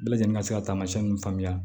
Bɛɛ lajɛlen ka se ka taamasiyɛn ninnu faamuya